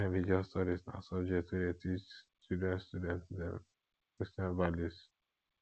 christian religious studies na subject wey dey teach children student dem christian values